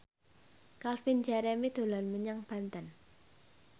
Calvin Jeremy dolan menyang Banten